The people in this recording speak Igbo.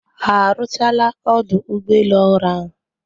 Ha arụchaala ọdụ ụgbọ elu ọhụrụ ahụ